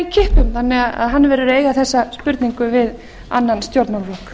kippum þannig að að hann verður að eiga þessa spurningu við annan stjórnmálaflokk